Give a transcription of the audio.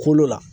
Kolo la